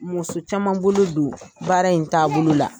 Muso caman bolo don baara in taabolo la.